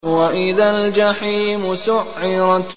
وَإِذَا الْجَحِيمُ سُعِّرَتْ